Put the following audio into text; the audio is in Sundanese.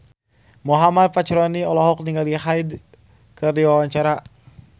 Muhammad Fachroni olohok ningali Hyde keur diwawancara